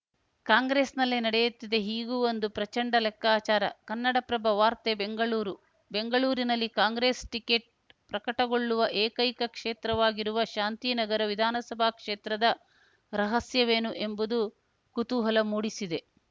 ಕಾಂಗ್ರೆಸ್‌ನಲ್ಲಿ ನಡೆಯುತ್ತಿದೆ ಹೀಗೂ ಒಂದು ಪ್ರಚಂಡ ಲೆಕ್ಕಾಚಾರ ಕನ್ನಡಪ್ರಭ ವಾರ್ತೆ ಬೆಂಗಳೂರು ಬೆಂಗಳೂರಿನಲ್ಲಿ ಕಾಂಗ್ರೆಸ್‌ ಟಿಕೆಟ್‌ ಪ್ರಕಟಗೊಳ್ಳುವ ಏಕೈಕ ಕ್ಷೇತ್ರವಾಗಿರುವ ಶಾಂತಿನಗರ ವಿಧಾನಸಭಾ ಕ್ಷೇತ್ರದ ರಹಸ್ಯವೇನು ಎಂಬುದು ಕುತೂಹಲ ಮೂಡಿಸಿದೆ